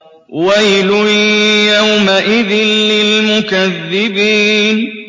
وَيْلٌ يَوْمَئِذٍ لِّلْمُكَذِّبِينَ